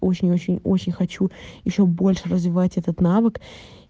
очень-очень-очень хочу ещё больше развиваеть этот навык